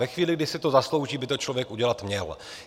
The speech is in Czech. Ve chvíli, kdy si to zaslouží, by to člověk udělat měl.